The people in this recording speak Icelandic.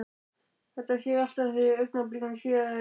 Þetta sé ég alltaf á því að augnabliki síðar er